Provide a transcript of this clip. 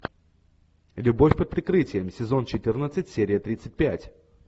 любовь под прикрытием сезон четырнадцать серия тридцать пять